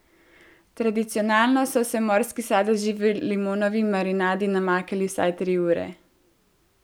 Tradicionalno so se morski sadeži v limonovi marinadi namakali vsaj tri ure.